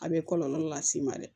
A bɛ kɔlɔlɔ las'i ma dɛ